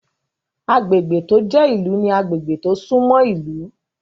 Agbègbè tó jẹ́ ìlú ní agbègbè tó sún mọ́ ìlú